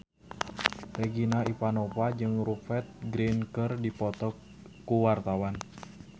Regina Ivanova jeung Rupert Grin keur dipoto ku wartawan